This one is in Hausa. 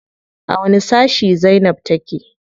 A wani sashi zainab take?